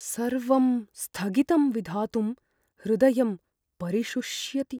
सर्वं स्थगितं विधातुं हृदयं परिशुष्यति।